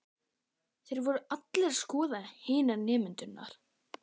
Þeir voru allir að skoða hina nemendurna.